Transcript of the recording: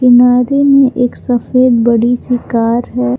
किनारे में एक सफेद बड़ी सी कार है।